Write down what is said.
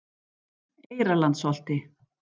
Eyrarlandsholti